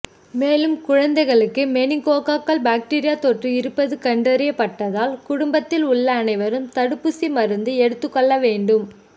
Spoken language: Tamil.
மேலும் குழந்தைகளுக்கு மெனிங்கோகாக்கல் பாக்டீரியா தொற்று இருப்பது கண்டறியப்பட்டால் குடும்பத்தில் உள்ள அனைவரும் தடுப்பு மருந்து எடுத்துக்கொள்ள வேண்டும்